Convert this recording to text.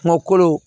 Kungokolo